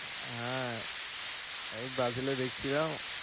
আহ এই Brazil দেখছিলাম